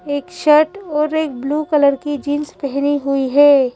एक शर्ट और एक ब्लू कलर की जींस पहनी हुई है।